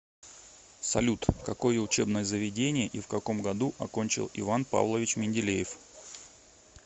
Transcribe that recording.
салют какое учебное заведение и в каком году окончил иван павлович менделеев